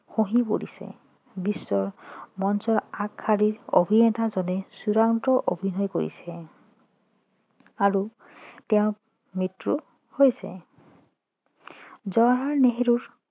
খহি পৰিছে বিশ্ব মঞ্চৰ আগশাৰীৰ অভিনেতাজনে চূড়ান্ত অভিনয় কৰিছে আৰু তেওঁৰ মৃত্যু হৈছে জৱাহৰলাল নেহেৰু